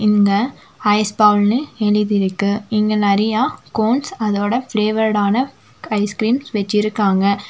இங்க ஐஸ் பவுல்னு எழுதியிருக்கு இங்கே நறைய கோண்ஸ் அதோட ஃப்ளேவர்டான ஐஸ்கிரீம்ஸ் வச்சிருக்காங்க.